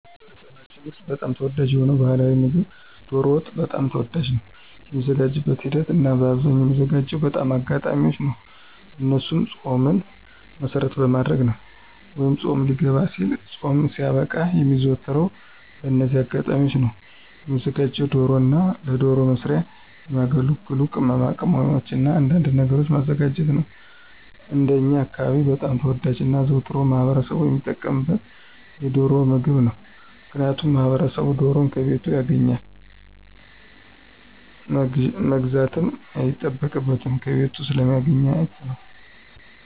በማኅበረሰባችን ውስጥ በጣም ተወዳጅ የሆነው ባሕላዊ ምግብ ዶሮ ወጥ በጣም ተወዳጅ ነው። የሚዘጋጅበትን ሂደት እናበአብዛኛው የሚዘጋጅባቸው በአጋጣሚዎች ነው እነሱም ፆምን መሰረት በማድረግ ነው ወይ ፆም ሊገባ ሲልና ፆም ሲያበቃ የሚዘወተረው በእነዚህ አጋጣሚዎች ነው። የሚዘጋጀውም ዶሮና ለዶሮ መስሪያ የሚያገለግሉ ቅማቅመሞችንና አንዳንድ ነገሮችን ማዘጋጀት ነው። እንደኛ አካባቢ በጣም ተወዳጅና አዘውትሮ ማህበረሰቡ ሚጠቀምበት የዶሮን ምግብ ነው። ምክንያቱም ማህበረሰቡ ዶሮን ከቤቱ ያገኛል መግዛትም አይጠበቅበትም ከቤቱ ስለሚያገኛት ነው።